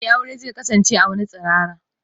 Eh, aure zai kasance a wani tsirara.